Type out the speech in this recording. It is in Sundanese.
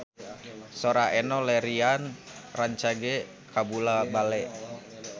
Sora Enno Lerian rancage kabula-bale